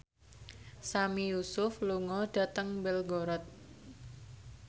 Sami Yusuf lunga dhateng Belgorod